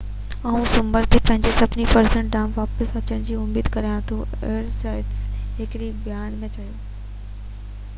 آئون سومر تي پنھنجي سڀني فرضن ڏانھن واپس اچڻ جي اميد ڪريان ٿو ايرياس ھڪڙي بيان ۾ چيو